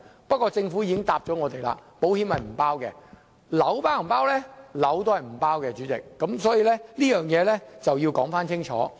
不過，政府已經回答我們，保險並不包括在內，物業也是不包括在內的，所以這個要說清楚。